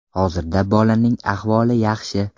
Hozirda bolaning ahvoli yaxshi.